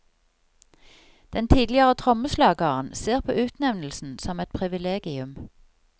Den tidligere trommeslageren ser på utnevnelsen som et privilegium.